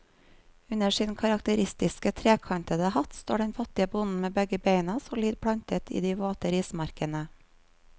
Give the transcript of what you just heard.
Under sin karakteristiske, trekantede hatt står den fattige bonden med begge bena solid plantet i de våte rismarkene.